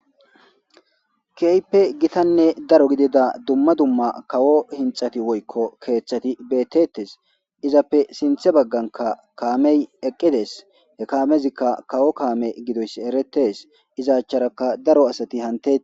Kehipe Gitane daro gidida duma duma kawO henthati kethati Betosona izape Sinthe baganka Kamey eqides He kamezika kawO Kame gidoysi eretes iza acharaka daro Asati hanetes